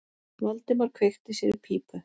Valdimar kveikti sér í pípu.